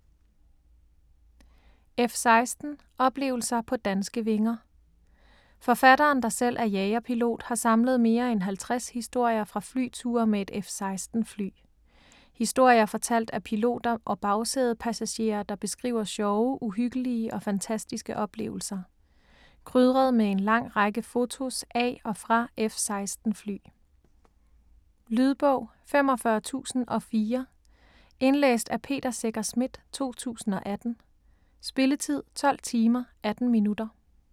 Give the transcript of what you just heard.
F-16 - oplevelser på danske vinger Forfatteren der selv er jagerpilot har samlet mere end 50 historier fra flyture med et F-16 fly. Historier fortalt af piloter og bagsædepassagerer der beskriver sjove, uhyggelige og fantastiske oplevelser. Krydret med en lang række fotos af og fra F-16 fly. Lydbog 45004 Indlæst af Peter Secher Schmidt, 2018. Spilletid: 12 timer, 18 minutter.